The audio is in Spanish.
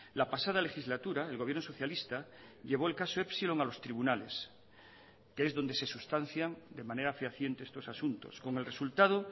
la pasada legislatura el gobierno socialista llevó el caso epsilon a los tribunales que es donde se sustancian de manera fehaciente estos asuntos con el resultado